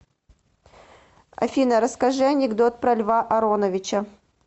афина расскажи анекдот про льва ароновича